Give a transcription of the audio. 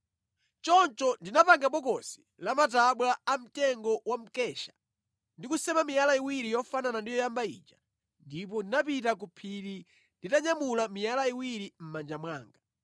Choncho ndinapanga bokosi lamatabwa amtengo wa mkesha ndi kusema miyala iwiri yofanana ndi yoyamba ija, ndipo ndinapita ku phiri nditanyamula miyala iwiri mʼmanja mwanga.